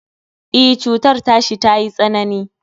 E, cutar tashi tayi tsanani